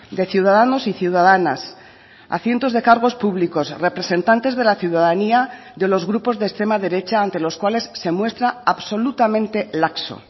de ciudadanos y ciudadanas a cientos de cargos públicos representantes de la ciudadanía de los grupos de extrema derecha ante los cuales se muestra absolutamente laxo